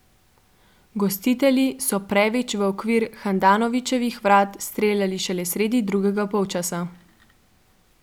Gostitelji so previč v okvir Handanovićevih vrat streljali šele sredi drugega polčasa.